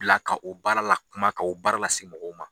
Bila ka o baara la kuma, ka o baara lase mɔgɔw ma.